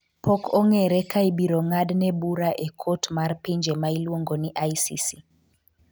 pok ongere ka ibiro ng'ad ne bura e kot mar pinje ma iluongo ni ICC